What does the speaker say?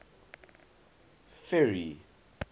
ferry